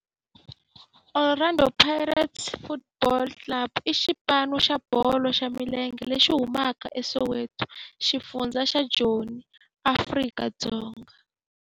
Orlando Pirates Football Club i xipano xa bolo ya milenge lexi humaka eSoweto, xifundzha xa Joni, Afrika-Dzonga.